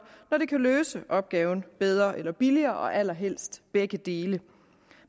når det kan løse opgaven bedre eller billigere og allerhelst begge dele